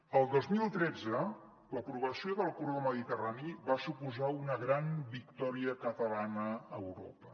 el dos mil tretze l’aprovació del corredor mediterrani va suposar una gran victòria catalana a europa